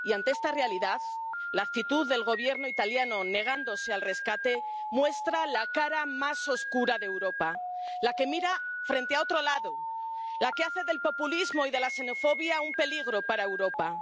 Y, ante esta realidad, la actitud del Gobierno italiano, negándose al rescate, muestra la cara más oscura de Europa la que mira a otro lado, la que hace del populismo y de la xenofobia un peligro para Europa.